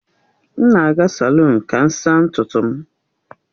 M na-aga salụnu ka m saa ntutu m